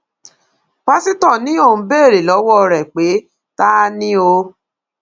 pásítọ ni òun béèrè lọwọ rẹ pé ta ni o